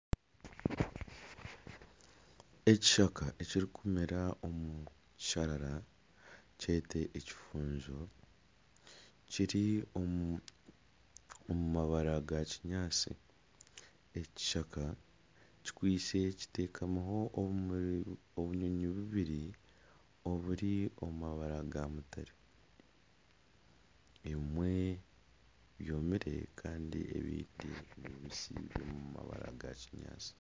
Ekishaka ekirikumera omu kisharara ekifunzo kiri omu mabara ga kinyaatsi ekishaka kitekamireho obunyonyi bubiri oburi omu mabara ga mutare ebimwe byomire kandi ebingi nibibisi biri omu rangi ya kinyaatsi